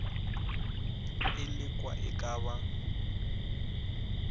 e lekwa e ka ba